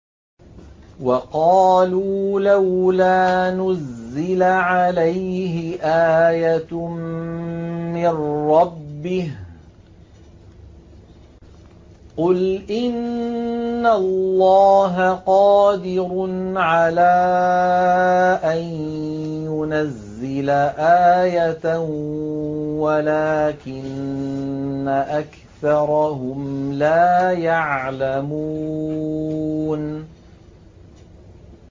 وَقَالُوا لَوْلَا نُزِّلَ عَلَيْهِ آيَةٌ مِّن رَّبِّهِ ۚ قُلْ إِنَّ اللَّهَ قَادِرٌ عَلَىٰ أَن يُنَزِّلَ آيَةً وَلَٰكِنَّ أَكْثَرَهُمْ لَا يَعْلَمُونَ